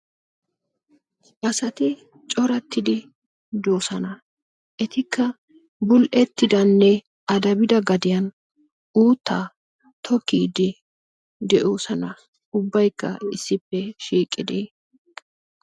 asati coratidi doosona. etikka bul''etidanne araddida gadiyan uutta tokkidi de'oosona, ubbaykka issippe shiiqidi.